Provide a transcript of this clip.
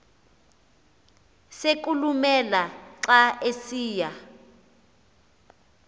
sokulumela xa esiya